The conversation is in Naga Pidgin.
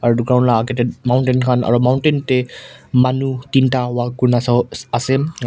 Aro age te mountain khan aro mountain te manu tinta walk kurina sawo ase aro--